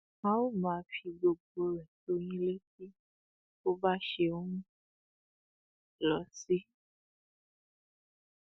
a ó máa fi gbogbo rẹ tó yín létí bó bá ṣe ń lọ sí